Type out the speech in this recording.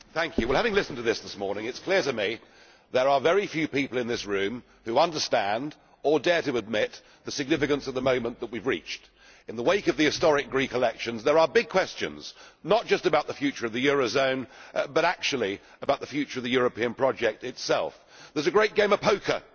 Mr President, having listened to the debate this morning, it is clear to me that there are very few people in this room who understand, or dare to admit, the significance of the moment that we have reached. In the wake of the historic Greek elections, there are big questions, not just about the future of the euro area but actually about the future of the European project itself. There is a great game of poker